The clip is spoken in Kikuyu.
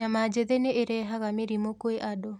Nyama njĩthĩ nĩirehaga mĩrimũ kwĩ andũ.